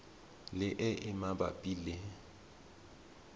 le e e mabapi le